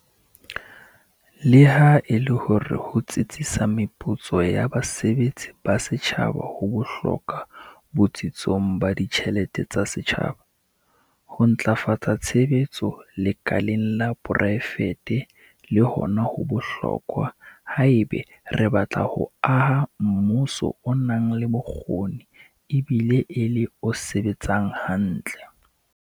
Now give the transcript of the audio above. Leha e le hore ho tsitsisa meputso ya basebetsi ba setjhaba ho bohlokwa botsitsong ba ditjhelete tsa setjhaba, ho ntlafatsa tshebetso lekaleng la poraefete le hona ho bohlokwa haeba re batla ho aha mmuso o nang le bokgoni ebile e le o sebetsang hantle.